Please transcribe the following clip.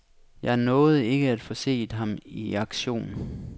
Jeg nåede ikke at få set ham i aktion.